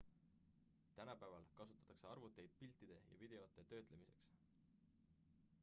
tänapäeval kasutatake arvuteid piltide ja videote töötlemiseks